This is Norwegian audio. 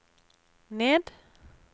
ned